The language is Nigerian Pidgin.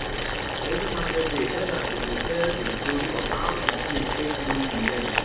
every market day elders dem dey tell de story of how de snake take lose im legs